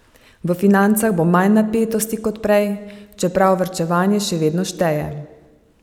V financah bo manj napetosti kot prej, čeprav varčevanje še vedno šteje.